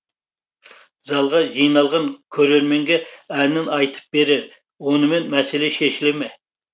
залға жиналған көрерменге әнін айтып берер онымен мәселе шешіле ме